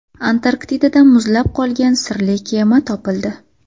Antarktidada muzlab qolgan sirli kema topildi.